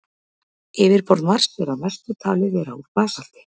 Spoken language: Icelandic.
Yfirborð Mars er að mestu talið vera úr basalti.